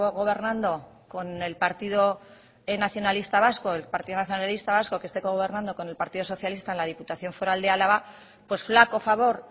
gobernando con el partido nacionalista vasco el partido nacionalista vasco que esté gobernando con el partido socialista en la diputación foral de álava pues flaco favor